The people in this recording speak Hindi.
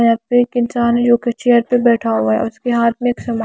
यहां पे एक इंसान है जो कि चेयर पे बैठा हुआ है उसके हाथ में एक--